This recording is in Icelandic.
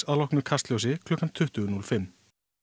að loknu Kastljósi klukkan tuttugu núll fimm